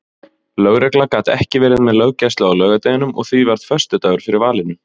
Lögregla gat ekki verið með löggæslu á laugardeginum og því varð föstudagur fyrir valinu.